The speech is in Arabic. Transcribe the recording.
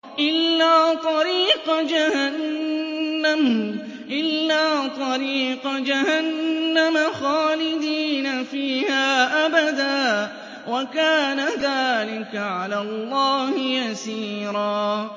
إِلَّا طَرِيقَ جَهَنَّمَ خَالِدِينَ فِيهَا أَبَدًا ۚ وَكَانَ ذَٰلِكَ عَلَى اللَّهِ يَسِيرًا